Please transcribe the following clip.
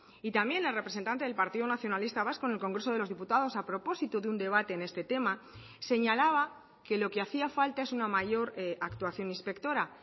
y también la representante del partido nacionalista vasco en el congreso de los diputados a propósito de un debate en este tema señalaba que lo que hacía falta es una mayor actuación inspectora